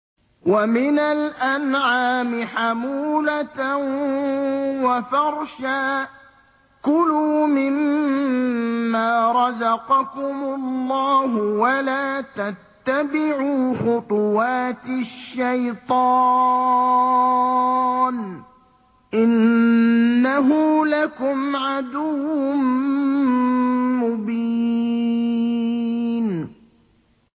وَمِنَ الْأَنْعَامِ حَمُولَةً وَفَرْشًا ۚ كُلُوا مِمَّا رَزَقَكُمُ اللَّهُ وَلَا تَتَّبِعُوا خُطُوَاتِ الشَّيْطَانِ ۚ إِنَّهُ لَكُمْ عَدُوٌّ مُّبِينٌ